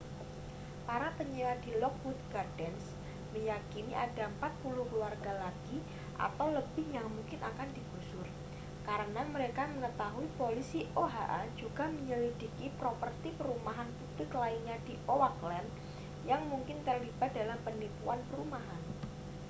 para penyewa di lockwood gardens meyakini ada 40 keluarga lagi atau lebih yang mungkin akan digusur karena mereka mengetahui polisi oha juga menyelidiki properti perumahan publik lainnya di oakland yang mungkin terlibat dalam penipuan perumahan